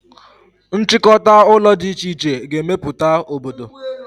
Nchịkọta ụlọ dị iche iche ga-emeputa obodo